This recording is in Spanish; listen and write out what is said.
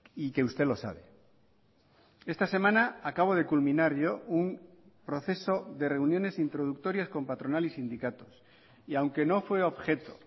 y que usted lo sabe esta semana acabo de culminar yo un proceso de reuniones introductorias con patronal y sindicatos y aunque no fue objeto